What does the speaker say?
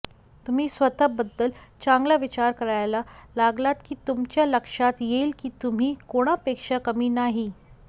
तुम्ही स्वतःबद्दल चांगला विचार करायला लागलात की तुमच्या लक्षात येईल की तुम्ही कोणापेक्षा कमी नाही